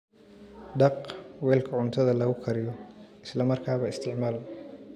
Dhaq weelka cuntada lagu kariyo isla markaaba isticmaal.